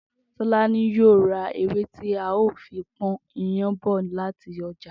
Tó̩lání yóò ra ewé tí a óò fi pó̩n iyán bò̩ láti o̩jà